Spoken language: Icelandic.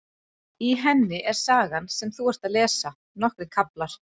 Í henni er sagan sem þú ert að lesa, nokkrir kaflar.